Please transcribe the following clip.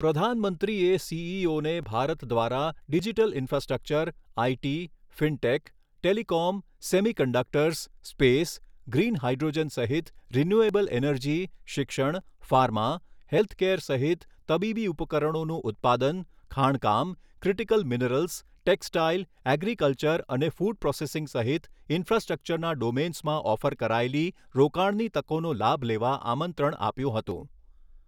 પ્રધાનમંત્રીએ સીઈઓને ભારત દ્વારા digital infrastructure, IT, fintech, telecom, semiconductors, space, green hydrogen સહિત રિન્યુએબલ એનર્જી, શિક્ષણ, ફાર્મા, હેલ્થકેર સહિત તબીબી ઉપકરણોનું ઉત્પાદન, ખાણકામ, ક્રિટિકલ મિનરલ્સ, ટેક્સટાઇલ, એગ્રીકલ્ચર અને ફૂડ પ્રોસેસિંગ સહિત ઈન્ફ્રાસ્ટ્રક્ચરના ડોમેન્સમાં ઓફર કરાયેલી રોકાણની તકોનો લાભ લેવા આમંત્રણ આપ્યું હતું.